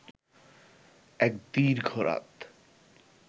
এক দীর্ঘ রাত